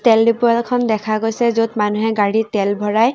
তেল ডিপু এখন দেখা গৈছে য'ত মানুহে তেল ভৰাই।